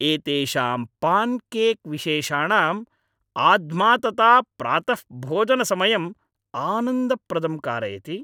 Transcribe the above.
एतेषां पान्केक् विशेषाणां आध्मातता प्रातःभोजनसमयम् आनन्दप्रदं कारयति।